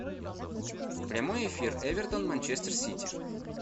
прямой эфир эвертон манчестер сити